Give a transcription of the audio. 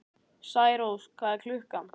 Særós, hvað er klukkan?